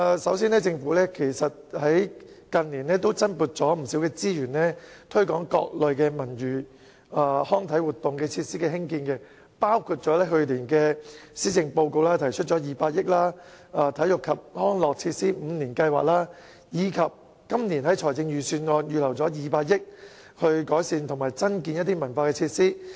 首先，近年政府增撥不少資源推廣各類文娛康體活動設施的興建，包括去年施政報告提出的200億元"體育及康樂設施五年計劃"，以及今年財政預算案預留200億元改善及增建文化設施。